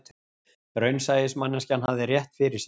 Raunsæismanneskjan hafði rétt fyrir sér